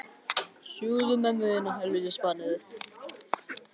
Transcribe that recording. Valíant, hvaða sýningar eru í leikhúsinu á föstudaginn?